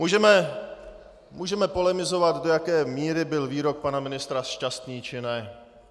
Můžeme polemizovat, do jaké míry byl výrok pana ministra šťastný, či ne.